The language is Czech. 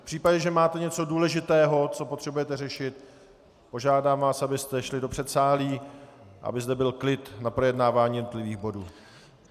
V případě, že máte něco důležitého, co potřebujete řešit, požádám vás, abyste šli do předsálí, aby zde byl klid na projednávání jednotlivých bodů.